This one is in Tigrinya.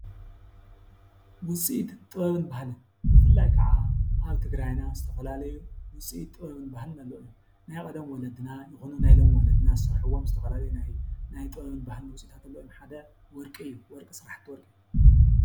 ውፅኢት ጥበብን ባህልን ብፍላይ ከዓ አብ ትግራይና ዝተፈላለዩ ውፅኢት ጥበብን ባህልን አለው እዮም፡፡ ናይ ቀደም ወለድና ይኩኑ ናይ ሎሚ ወለድና ዘስርሕዎም ዝተፈላለዩ ናይ ጥበብን ባህልን ውፅኢት አለው እዮም፡፡ ካብዚኦም ሓደ ወርቂ እዩ፡፡ ወርቂ ሰራሕቲ ወርቂ...